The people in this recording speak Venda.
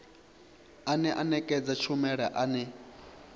ane a nekedza tshumelo ane